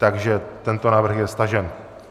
Takže tento návrh je stažen.